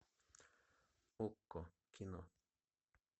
окко кино